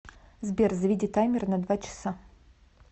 сбер заведи таймер на два часа